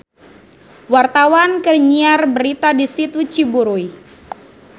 Wartawan keur nyiar berita di Situ Ciburuy